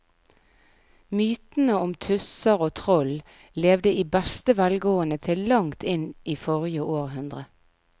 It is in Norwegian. Mytene om tusser og troll levde i beste velgående til langt inn i forrige århundre.